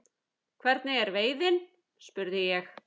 Hvernig er veiðin? spurði ég.